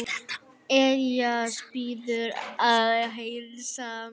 Elías biður að heilsa.